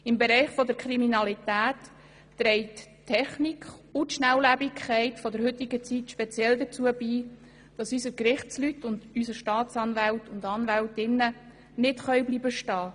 Im Bereich der Kriminalität tragen die Technik und die Schnelllebigkeit der heutigen Zeit dazu bei, dass unsere Gerichtsleute und unsere Staatsanwältinnen und Staatsanwälte nicht stehen bleiben können.